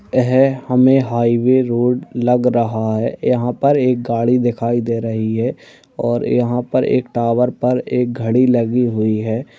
ए हैं हमें highway road लग रहा है यहाँ पर एक गाड़ी दिखाई दे रही है और यहाँ पर एक टावर पर एक घड़ी लगी हुई--